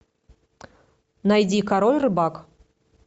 найди король рыбак